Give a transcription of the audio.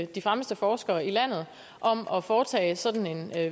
de fremmeste forskere i landet om at foretage sådan en